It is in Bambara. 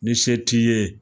Ni se t'i ye